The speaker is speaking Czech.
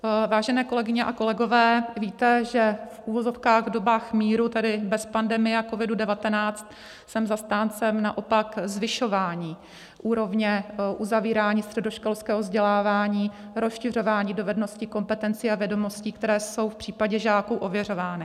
Vážené kolegyně a kolegové, víte, že v uvozovkách v dobách míru, tedy bez pandemie a COVID-19, jsem zastáncem naopak zvyšování úrovně uzavírání středoškolského vzdělávání, rozšiřování dovedností, kompetencí a vědomostí, které jsou v případě žáků ověřovány.